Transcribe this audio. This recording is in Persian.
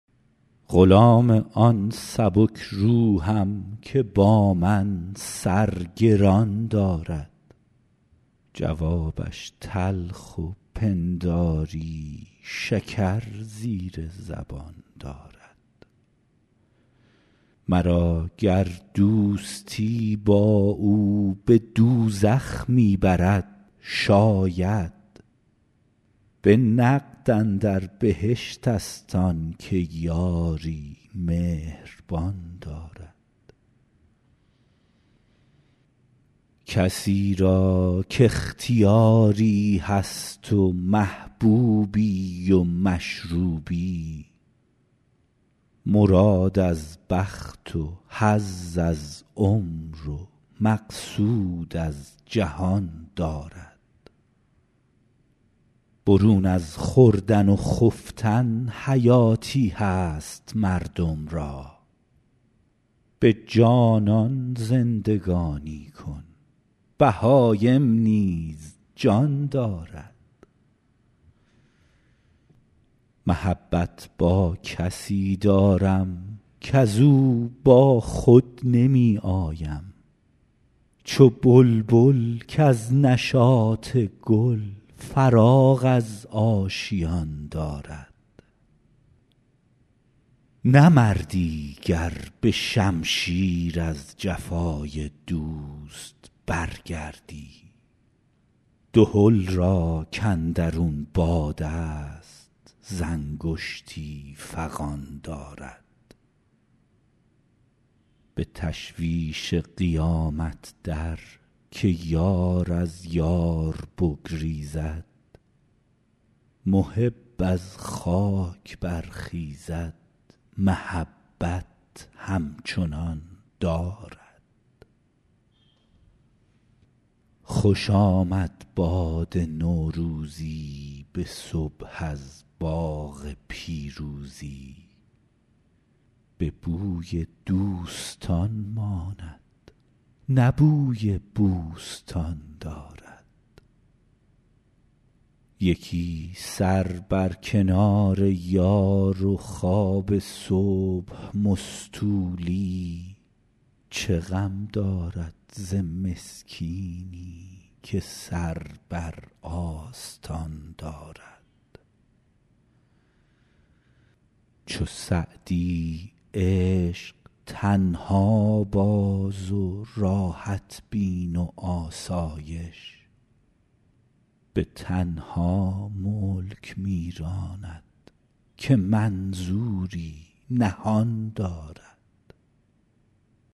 غلام آن سبک روحم که با من سر گران دارد جوابش تلخ و پنداری شکر زیر زبان دارد مرا گر دوستی با او به دوزخ می برد شاید به نقد اندر بهشت ست آن که یاری مهربان دارد کسی را کاختیاری هست و محبوبی و مشروبی مراد از بخت و حظ از عمر و مقصود از جهان دارد برون از خوردن و خفتن حیاتی هست مردم را به جانان زندگانی کن بهایم نیز جان دارد محبت با کسی دارم کز او با خود نمی آیم چو بلبل کز نشاط گل فراغ از آشیان دارد نه مردی گر به شمشیر از جفای دوست برگردی دهل را کاندرون باد است ز انگشتی فغان دارد به تشویش قیامت در که یار از یار بگریزد محب از خاک برخیزد محبت همچنان دارد خوش آمد باد نوروزی به صبح از باغ پیروزی به بوی دوستان ماند نه بوی بوستان دارد یکی سر بر کنار یار و خواب صبح مستولی چه غم دارد ز مسکینی که سر بر آستان دارد چو سعدی عشق تنها باز و راحت بین و آسایش به تنها ملک می راند که منظوری نهان دارد